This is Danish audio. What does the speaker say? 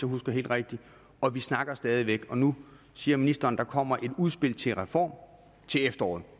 husker helt rigtigt og vi snakker stadig væk nu siger ministeren at der kommer et udspil til reform til efteråret